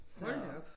Så